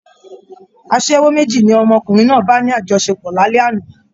Aṣẹ́wó méjì ni ọmọkùnrin náà bà ní àjọṣepọ̀ lálẹ́ àná